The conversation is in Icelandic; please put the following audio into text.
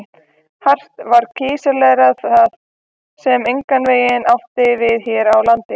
Hart var krítiserað það, sem engan veginn átti við hér á landi.